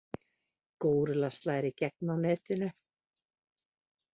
Górilla slær í gegn á netinu